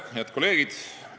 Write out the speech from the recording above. Head kolleegid!